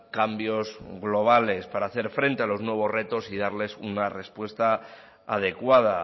cambios globales para hacer frente a los nuevos retos y darles una respuesta adecuada